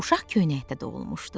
Uşaq köynəkdə doğulmuşdu.